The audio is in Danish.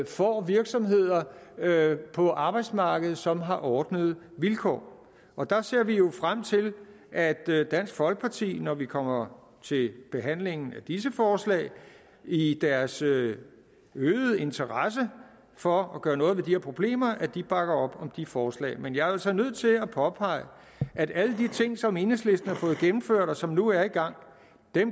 får virksomheder på arbejdsmarkedet som har ordnede vilkår og der ser vi jo frem til at dansk folkeparti når vi kommer til behandlingen af disse forslag i deres øgede interesse for at gøre noget ved de her problemer bakker op om de forslag men jeg er altså nødt til at påpege at alle de ting som enhedslisten har fået gennemført og som nu er i gang